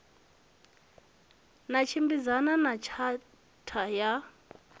na tshimbidzana na tshatha ya